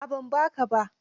A'a ban ba ka ba.